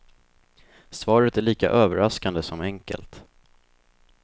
Svaret är lika överraskande som enkelt.